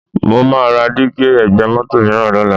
Mo máa ra dígí ẹ̀gbẹ́ mọ́tò mìíràn lọ́la